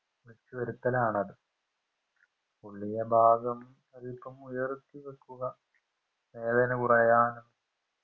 വിളിച്ചുവരുത്തലാണത് പൊള്ളിയഭാഗം അതിപ്പോ ഉയർത്തിവെക്കുക വേദന കുറയാന്